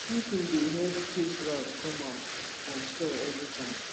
sweeping dey help chase rat come out from store every time